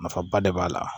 Nafaba de b'a la